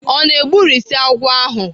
O na-egburisi agwọ ahụ?